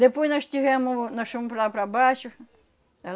Depois nós tivemos, nós fomos para lá para baixo.